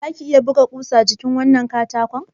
Zaka iya buga wannan kusar a jikin katakonnan?